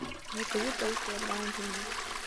закажи полкилограмма пельменей